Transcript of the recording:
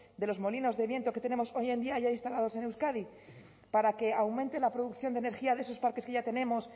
de los molinos de viento que tenemos hoy en día ya instaladas en euskadi para que aumente la producción de energía de sus parques que ya tenemos